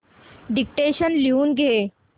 dictation लिहून घे